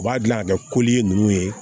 U b'a dilan ka kɛ ninnu ye